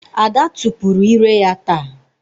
Ada tupuru ire ya ta.